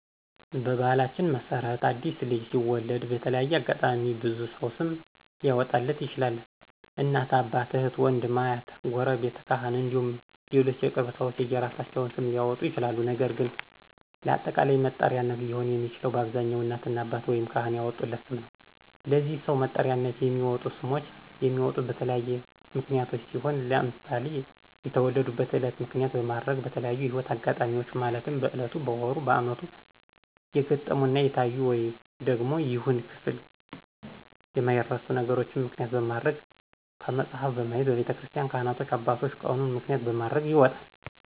በባህላችን መሰረት አዲስ ልጅ ሲወለድ በተለያየ አጋጣሚ ብዙ ሰው ስም ሊአወጣለት ይችላል እናት፣ አባት፣ እህት፣ ውንድም፣ አሀት፣ ጉረቤት፣ ካህን እንዲሁም ሌሎች የቅርብ ሰዎች የየእራሳቸውን ስም ሊአወጡ ይችላል ነገር ግን ለአጠቃላይ መጠሪያነት ሊሆን የሚችለው በአብዛኛው እናትና አባት ወይም ካህን ያወጡለት ስም ነው። ለዚህ ሰው መጥሪያነት የሚወጡ ስሞች የሚወጡት በተለያዩ ምክንያቶች ሲሆን ለምሳሌ የተወለዱበትን እለት ምክንያት በማድረግ፣ በተለያዪ የህይወት እጋጣሚዎች ማለትም በእለቱ፣ በወሩ፣ በአመቱ የገጠሙና የታዩ ደግም ይሁን ክፍል የማይረሱ ነገሮችን ምክንያት በማድረግ፣ ከመጽሀፍ በማየት፣ በቤተክርስቲን ካህናት አባቶች ቀኑን ምክንያት በማድረግ ይወጣል።